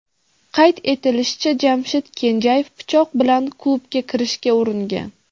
Qayd etilishicha, Jamshid Kenjayev pichoq bilan klubga kirishga uringan.